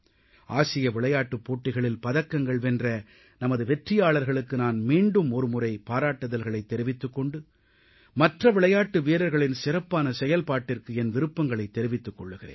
ஆசிய விளையாட்டுப் போட்டிகளில் பதக்கங்கள் வென்ற நமது வெற்றியாளர்களுக்கு நான் மீண்டுமொரு முறை பாராட்டுதல்களைத் தெரிவித்துக் கொண்டு மற்ற விளையாட்டு வீரர்களின் சிறப்பான செயல்பாட்டிற்கு என் விருப்பங்களைத் தெரிவித்துக் கொள்கிறேன்